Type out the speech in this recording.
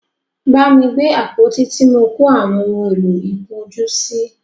Bámi gbé àpótí tí mọ kó àwọn ohun èlò ìkun ojú sí!